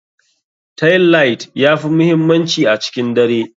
Tailight ya fi muhimmanci a cikin dare.